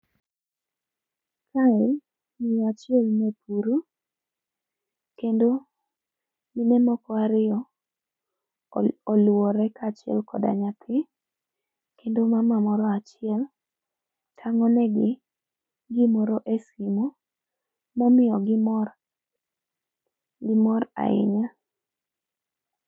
Kae miyo achiel nepuro kendo mine moko ariyo olwore kaachiel kod nyathi kendo mama moro achiel tango ne gi gimoro e simu momiyo gi mor gi mor ahinya